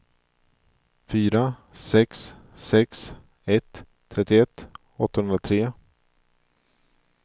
fyra sex sex ett trettioett åttahundratre